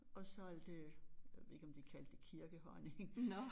Og så alt det jeg ved ikke om de kaldte det kirkehonning